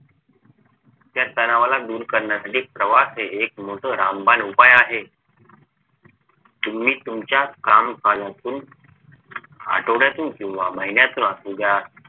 त्या तणावाला दूर करण्यासाठी प्रवास हे एक मोठं रामबाण उपाय आहे तुम्ही तुमच्या कामकाजातून आठवड्यातून किव्हा महिन्यातून असू द्या